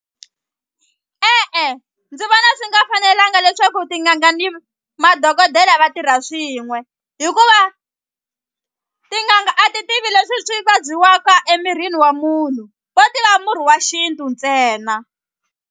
E-e ndzi vona swi nga fanelanga leswaku tin'anga ni madokodela va tirha swin'we hikuva tin'anga a ti tivi leswi swi vabyiwaka emirini wa munhu vo tiva murhi wa xintu ntsena.